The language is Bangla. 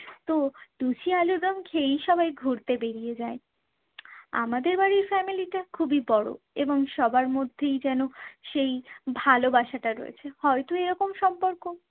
তো লুচি আলুরদম খেয়েই সবাই ঘুরতে বেরিয়ে যায়। আমাদের বাড়ির family টা খুবই বড়ো এবং সবার মধ্যেই যেন সেই ভালোবাসাটা রয়েছে। হয়তো এরকম সম্পর্ক